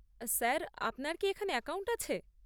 Sir আপনার কি এখানে অ্যাকাউন্ট আছে?